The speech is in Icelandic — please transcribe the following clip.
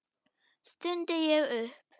stundi ég upp.